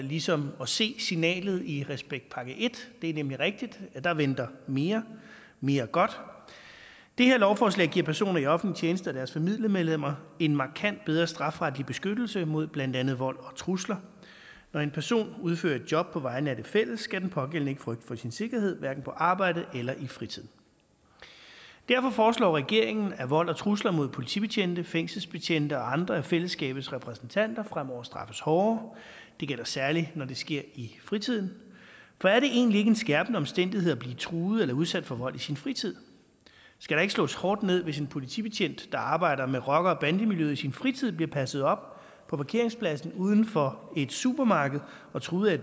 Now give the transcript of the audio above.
ligesom at se signalet i respektpakke i det er nemlig rigtigt at der venter mere mere godt det her lovforslag giver personer i offentlig tjeneste og deres familiemedlemmer en markant bedre strafferetlig beskyttelse mod blandt andet vold og trusler når en person udfører et job på vegne af det fælles skal den pågældende ikke frygte for sin sikkerhed hverken på arbejdet eller i fritiden derfor foreslår regeringen at vold og trusler mod politibetjente fængselsbetjente og andre af fællesskabets repræsentanter fremover straffes hårdere det gælder særligt når det sker i fritiden for er det egentlig ikke en skærpende omstændighed at blive truet eller udsat for vold i sin fritid skal der ikke slås hårdt ned hvis en politibetjent der arbejder med rockere og bandemiljøet i sin fritid bliver passet op på parkeringspladsen uden for et supermarked og truet af